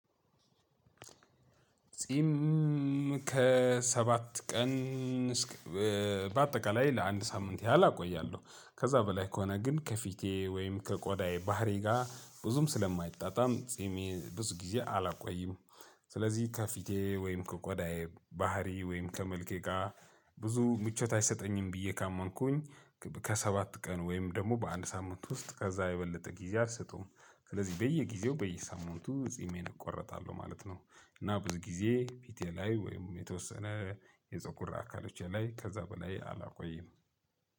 ጺም ከሰባት ቀን እስክ በአጠቃላይ ለአንድ ሳምንት ያህል አቆያለሁ ከዛ በላይ ከሆነ ግን ከፊቴ ወይም ከቆዳዬ ባህሪ ጋር ብዙም ስለማይጣጣም ጺሜን ብዙ ጊዜ አላቆይም። ስለዚህ ከፊቴ ወይም ከቆዳዬ ባህሪ ወይም ከመልኬ ጋር ብዙ ምቾት አይሰጠኝም ብዬ ካመንኩኝ ከሰባት ቀን ወይም ደግሞ በአንድ ሳምንት ውስጥ ከዛ የበለጠ ጊዜ አልሰጠውም ስለዚህ በየጊዜው በየሳምንቱ ጺሜን እቆረጣለሁ ማለት ነው። እና ብዙ ጊዜ ፊቴ ላይ ወይም የተወሰነ የፀጉር አካሎቼ ላይ ከዛ በላይ አላቆይም